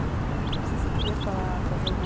Não sei se você queria falar, fazer uma...